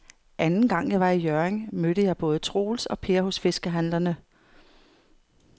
Anden gang jeg var i Hjørring, mødte jeg både Troels og Per hos fiskehandlerne.